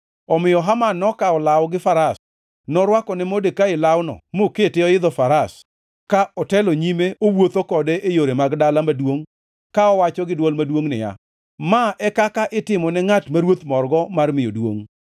Omiyo Haman nokawo law gi faras. Norwako ne Modekai lawno mokete oidho faras ka otelo nyime owuotho kode e yore mag dala maduongʼ ka owacho gi dwol maduongʼ niya, “Ma e kaka itimo ne ngʼat ma ruoth morgo mar miyo duongʼ!”